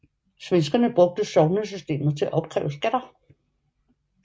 Svenskerne brugte sognesystemet til at opkræve skatter